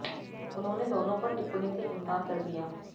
उन्होंने दोनों पर टिप्पणी से इनकार कर दिया